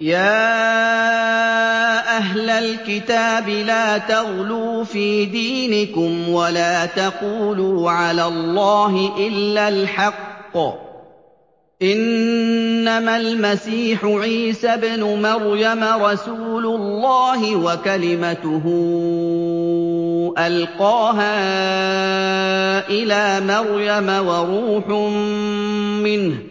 يَا أَهْلَ الْكِتَابِ لَا تَغْلُوا فِي دِينِكُمْ وَلَا تَقُولُوا عَلَى اللَّهِ إِلَّا الْحَقَّ ۚ إِنَّمَا الْمَسِيحُ عِيسَى ابْنُ مَرْيَمَ رَسُولُ اللَّهِ وَكَلِمَتُهُ أَلْقَاهَا إِلَىٰ مَرْيَمَ وَرُوحٌ مِّنْهُ ۖ